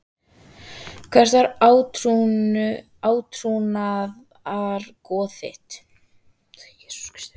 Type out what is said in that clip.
Hvert var átrúnaðargoð þitt?